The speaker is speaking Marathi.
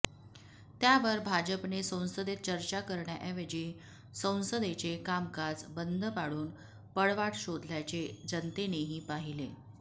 त्यावर भाजपने संसदेत चर्चा करण्याऐवजी संसदेचे कामकाज बंद पाडून पळवाट शोधल्याचे जनतेनेही पाहिले